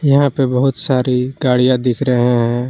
यहां पे बहुत सारी गाड़ियां दिख रहे हैं।